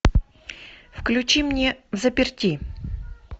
включи мне взаперти